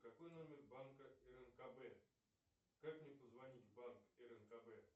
какой номер банка рнкб как мне позвонить в банк рнкб